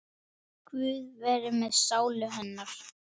Guð veri með sálu hennar.